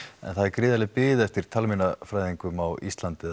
en gríðarleg bið er eftir talmeinafræðingum á Íslandi